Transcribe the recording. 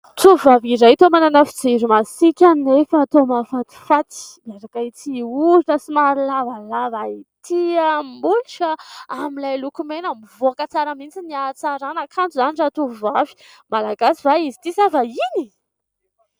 Tovovavy iray toa manana fijery masiaka nefa tao mahafatifaty miaraka amin'ity orona somary lavalava ity, molotra amin'ilay lokomena mivoaka tsara mihitsy ny hatsarana kanto izany ratovovavy Malagasy va izy ity sa vahiny?